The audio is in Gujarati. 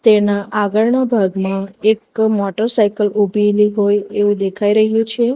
એના આગળના ભાગમાં એક મોટરસાયકલ ઊભીલી હોય એવું દેખાઈ રહ્યું છે.